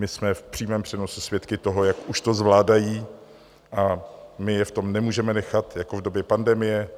My jsme v přímém přenosu svědky toho, jak už to zvládají, a my je v tom nemůžeme nechat jako v době pandemie.